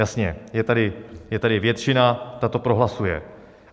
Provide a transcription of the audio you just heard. Jasně, je tady většina, ta to prohlasuje.